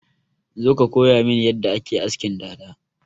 Zo ka koyamin yadda ake askin dada!